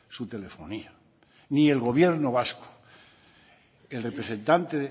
su telefonía ni el gobierno vasco el representante